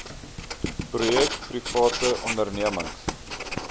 projek private ondernemings